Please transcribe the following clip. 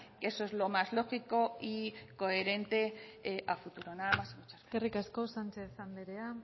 eso es lo más lógico y coherente a futuro nada más y muchas gracias eskerrik asko sánchez anderea